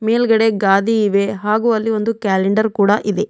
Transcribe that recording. ಮೇಲ್ಗಡೆ ಗಾದಿ ಇವೆ ಹಾಗು ಅಲ್ಲಿ ಒಂದು ಕ್ಯಾಲೆಂಡರ್ ಕೂಡ ಇದೆ.